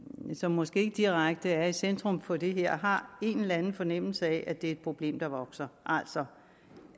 som måske ikke direkte er i centrum for det her har en eller anden fornemmelse af at det er et problem der vokser altså